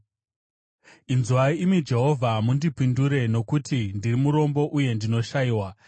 Inzwai, imi Jehovha, mundipindure, nokuti ndiri murombo uye ndinoshayiwa.